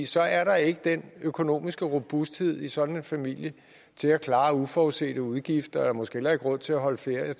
så er der ikke den økonomiske robusthed i sådan en familie til at klare uforudsete udgifter og måske heller ikke råd til at holde ferie og